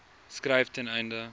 skryf ten einde